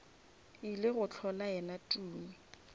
ile go hlola yena tumi